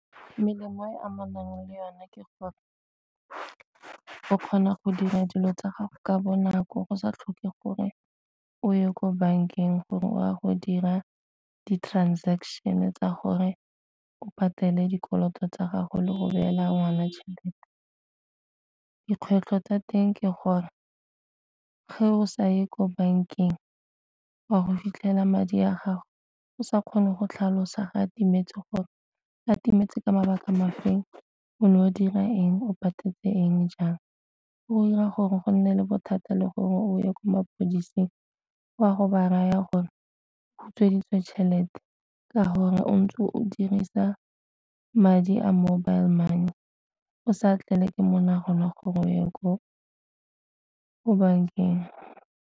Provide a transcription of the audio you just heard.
Melemo e e amanang le yone ke gore o kgona go dira dilo tsa gago ka bonako go sa tlhoke gore o ye ko bankeng gore o a go dira di-transaction tsa gore o patele dikoloto tsa gago le go beela ngwana tšhelete. Dikgwetlho tsa teng ke gore fa o sa ye ko bankeng wa go fitlhela madi a gago o sa kgone go tlhalosa ga timetse gore a timetse ka mabaka ma feng, o ne o dira eng, o patetse eng jang. O 'ira gore go nne le bothata le gore o ye ko mapodiseng o a go ba raya gore o utsweditswe tšhelete ka gore o ntse o dirisa madi a mobile money o sa tlelwe ke monagano gore o ye ko bankeng.